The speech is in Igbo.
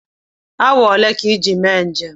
Awa olee ka iji mee njem?